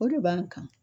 O de b'an kan